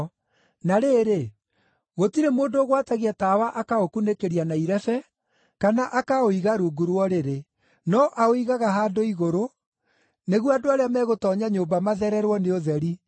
“Na rĩrĩ, gũtirĩ mũndũ ũgwatagia tawa akaũkunĩkĩria na irebe, kana akaũiga rungu rwa ũrĩrĩ. No aũigaga handũ igũrũ, nĩguo andũ arĩa megũtoonya nyũmba mathererwo nĩ ũtheri.